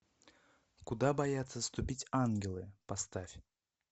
куда боятся ступить ангелы поставь